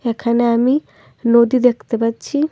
এখানে আমি নদী দেখতে পাচ্ছি।